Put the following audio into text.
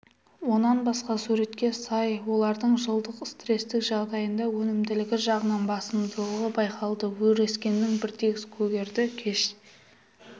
онан басқа суретке сай олардың жылдың стрестік жағдайында өнімділігі жағынан басымдығы байқалды өскіндер біртегіс көгерді кеш